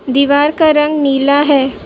दीवार का रंग नीला है।